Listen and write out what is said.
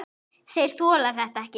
Þeir þola þetta ekki.